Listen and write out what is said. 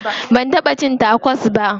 Ban taɓa cin tacos ba.